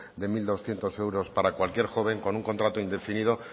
de mil doscientos euros para cualquier joven con un contrato indefinido